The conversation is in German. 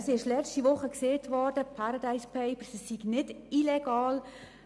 Vergangene Woche wurde gesagt, die Paradise Papers seien nicht illegal.